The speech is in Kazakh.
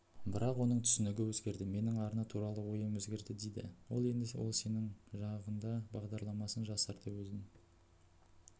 бірақ оның түсінігі өзгерді менің арна туралы ойым өзгерді дейді ол енді ол сенің жағыңдабағдарламасын жасарда өзін